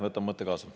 Võtan mõtte kaasa.